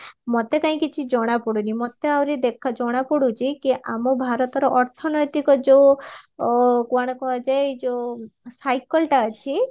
ମତେ କାଇଁ କିଛି ଜଣ ପଡୁଣୀ ମତେ ଆଉରି ଦେଖ ଜଣା ପଡୁଚି କି ଆମ ଭାରତର ଅର୍ଥନୈତିକ ଯୋଉ କଣ କୁହାଯାଏ ଯୋଉ cycleଟା ଅଛି